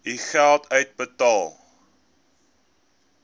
u geld uitbetaal